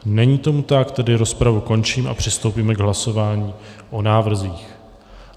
Není tomu tak, tedy rozpravu končím a přistoupíme k hlasování o návrzích.